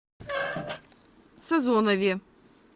созонове